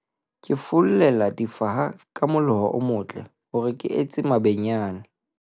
ke follela difaha ka moloho o motle hore ke etse mabenyane